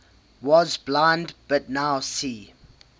was blind but now see